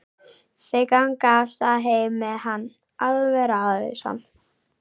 Þau ganga af stað heim með hann, alveg ráðalaus.